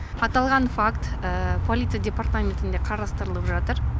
аталған факт полиция департаментінде қарастырылып жатыр